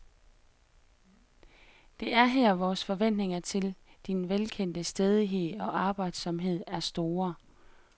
Det er her vores forventninger til din velkendte stædighed og arbejdsomhed er store.